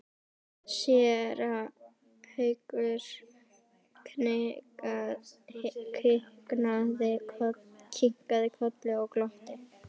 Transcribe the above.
Séra Haukur kinkaði kolli og glotti.